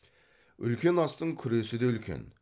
үлкен астың күресі де үлкен